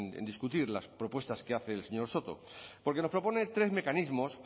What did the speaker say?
a discutir las propuestas que hace el señor soto porque nos propone tres mecanismos